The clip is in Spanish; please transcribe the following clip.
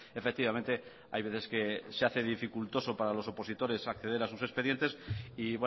efectivamente hay veces que se hace dificultoso para los opositores acceder a sus expedientes y